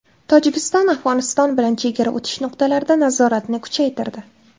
Tojikiston Afg‘oniston bilan chegara o‘tish nuqtalarida nazoratni kuchaytirdi.